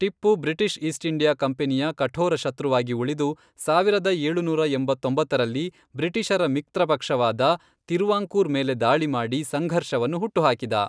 Tipu British East India ಕಂಪನಿಯ ಕಠೋರ ಶತ್ರುವಾಗಿ ಉಳಿದು, ಸಾವಿರದ ಏಳುನೂರ ಎಂಬತ್ತೊಂಬತ್ತರಲ್ಲಿ ಬ್ರಿಟಿಷರ ಮಿತ್ರಪಕ್ಷವಾದ ತಿರುವಾಂಕೂರ್ ಮೇಲೆ ದಾಳಿಮಾಡಿ ಸಂಘರ್ಷವನ್ನು ಹುಟ್ಟುಹಾಕಿದ.